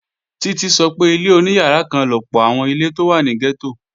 Títí sọ pé ilé oníyàrá kan lọ̀pọ̀ àwọn ilé tó wà ní gẹ́tò